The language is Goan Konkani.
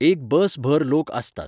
एक बस भर लोक आसतात.